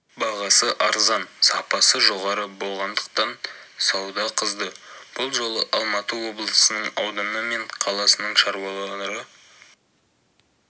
бағасы арзан сапасы жоғары болғандықтан сауда қызды бұл жолы алматы облысының ауданы мен қаласының шаруалары